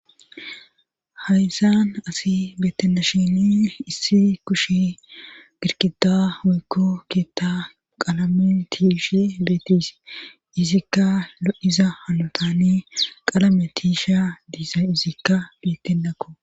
Haysan asi beettena sheni issi kushi girkida woykko keetta qalame tiishe beetise izikka lo7iza halotani qalame tiisha diisa izikka bittenakko